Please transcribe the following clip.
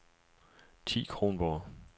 Thi Kronborg